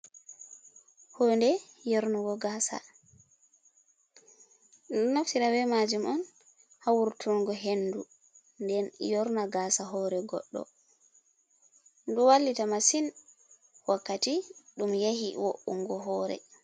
Hude yornugo gasa. Ɗumɗo naftira be majum on ha wurtungo hendu, nden yorna gasa hore goɗɗo, ɗumɗo wallita masin wakkati ɗum yahi wo’ungo hore.